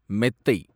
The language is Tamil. மெத்தை